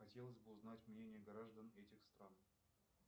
хотелось бы узнать мнение граждан этих стран